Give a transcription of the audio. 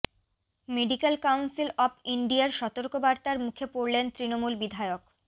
medical council of ইন্ডিয়ার সতর্কবার্তার মুখে পড়লেন তৃণমূল বিধায়ক